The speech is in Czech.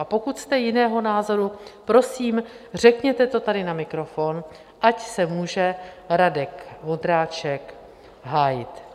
A pokud jste jiného názoru, prosím, řekněte to tady na mikrofon, ať se může Radek Vondráček hájit.